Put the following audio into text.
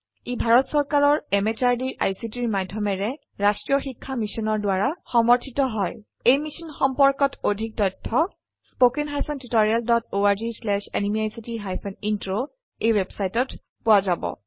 ই ভাৰত চৰকাৰৰ MHRDৰ ICTৰ মাধয়মেৰে ৰাস্ত্ৰীয় শিক্ষা মিছনৰ দ্ৱাৰা সমৰ্থিত হয় এই মিশ্যন সম্পৰ্কত অধিক তথ্য spoken hyphen tutorial dot org slash NMEICT hyphen intro ৱেবচাইটত পোৱা যাব